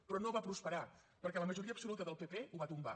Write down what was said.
però no va prosperar perquè la majoria absoluta del pp ho va tombar